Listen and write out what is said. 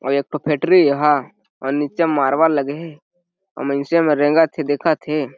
अउ एक ठो फैक्ट्री ए एहा अउ नीचे मारबल लगे हे मइनसे में रेंगत हे देखत हे।